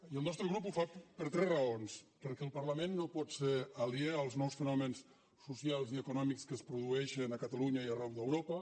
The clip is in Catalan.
i el nostre grup ho fa per tres raons perquè el parlament no pot ser aliè als nous fonaments socials i econòmics que es produeixen a catalunya i arreu d’europa